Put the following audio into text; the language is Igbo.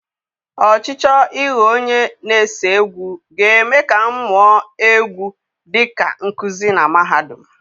Ọchịchọ ịghọ onye na-ese egwu ga-eme ka m mụọ egwu dị ka nkuzi na mahadum.